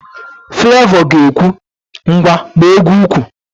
Flevọ ga-ekwu, ngwa gbaa égwú úkwù